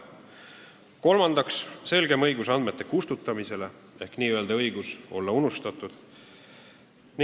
Kolmandaks on sätestatud selgem õigus andmeid kustutada ehk n-ö õigus olla unustatud.